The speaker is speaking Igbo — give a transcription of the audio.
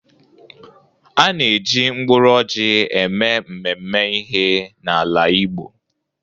A na-eji mkpụrụ ọjị eme mmemme ihe n'ala Igbo.